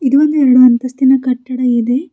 ಇದು ಒಂದು ಎರಡು ಅಂತಸ್ತಿನ ಕಟ್ಟಡ ಇದೆ.